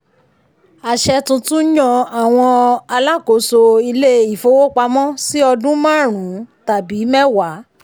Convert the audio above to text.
àṣẹ tuntun yàn àwọn alákóso ilé-ifowopamọ́ sí ọdún márùn-ún tàbí mẹ́wàá.